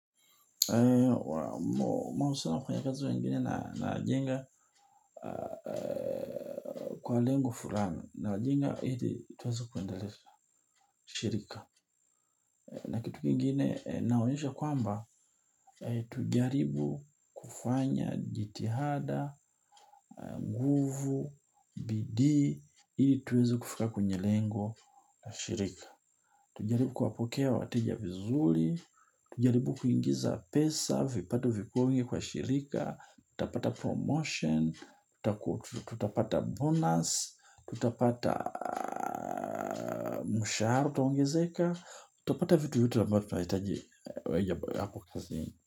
Mahusino kwenye kazi wengine na najenga kwa lengo fulani. Najenga ili tuweze kuendelesha shirika. Na kitu kingine naonyeshwa kwamba tujaribu kufanya jitihada, nguvu, bidii ili tuweze kufika kwenye lengo la shirika. Tujaribu kuwapokea wateja vizuri. Tujaribu kuingiza pesa, vipato vikuwe wingi kwa shirika tutapata promotion, tutapata bonus, tutapata mshahara utaongezeka, tutapata vitu vyote ambao tunahitaji hapo kazini.